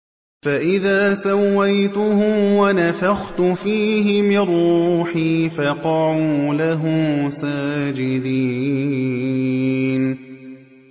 فَإِذَا سَوَّيْتُهُ وَنَفَخْتُ فِيهِ مِن رُّوحِي فَقَعُوا لَهُ سَاجِدِينَ